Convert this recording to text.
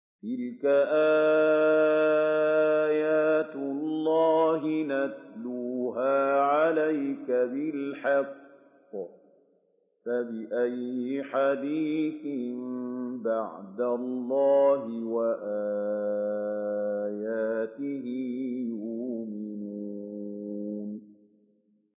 تِلْكَ آيَاتُ اللَّهِ نَتْلُوهَا عَلَيْكَ بِالْحَقِّ ۖ فَبِأَيِّ حَدِيثٍ بَعْدَ اللَّهِ وَآيَاتِهِ يُؤْمِنُونَ